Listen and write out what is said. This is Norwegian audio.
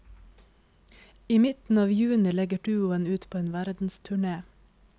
I midten av juni legger duoen ut på en verdensturné.